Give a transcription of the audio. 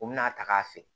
U bina a ta k'a feere